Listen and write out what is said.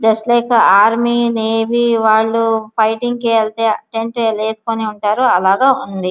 Just లైకే army navy వాళ్ళు fighting కి వేల్లెతే టెంట్ వేసుకొని ఎలా వుంటారో అలాగా వుంది.